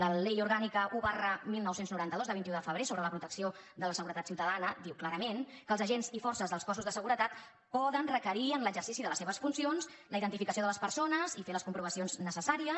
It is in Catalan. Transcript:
la ley orgánica un dinou noranta dos de vint un de febrer sobre la protecció de la seguretat ciutadana diu clarament que els agents i forces dels cossos de seguretat poden requerir en l’exercici de les seves funcions la identificació de les persones i fer les comprovacions necessàries